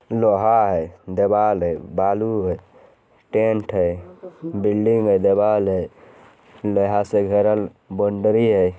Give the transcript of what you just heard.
लोहा है दिवाल है बालू है टेंट है बिल्डिंग है दिवाल है लोहा से घेरल बोंडरी है।